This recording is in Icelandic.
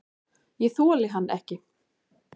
Ég þoli hann ekki.